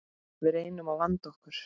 Við reynum að vanda okkur.